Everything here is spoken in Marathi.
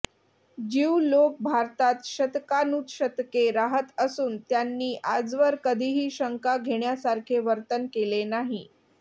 ज्यू लोक भारतात शतकानुशतके राहत असून त्यांनी आजवर कधीही शंका घेण्यासारखे वर्तन केले नाही